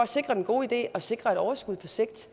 sikre den gode idé og sikre et overskud på sigt